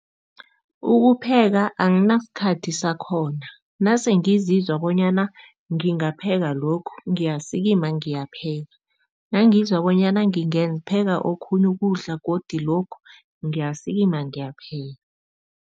Ukupheka anginasikhathi sakhona. Nase ngizizwa bonyana ngingapeka lokhu, ngiyasikima ngiyapheka. Nangizwa bonyana ngingapheka okhunye ukudla godi lokhu, ngiyasikima ngiyapheka.